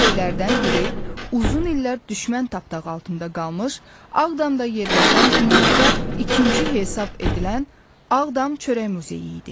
Bu muzeylərdən biri uzun illər düşmən tapdağı altında qalmış Ağdamda yerləşən dünyada ikinci hesab edilən Ağdam çörək muzeyi idi.